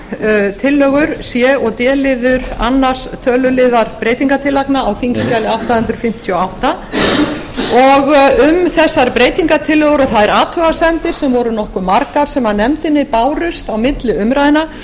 tvær tillögur c og d liður annað töluliðar breytingartillagna á þingskjali átta hundruð fimmtíu og átta um þessar breytingartillögur og þær athugasemdir sem voru nokkuð margar sem nefndinni bárust á milli umræðna